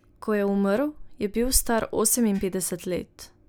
Ko je umrl, je bil star oseminpetdeset let.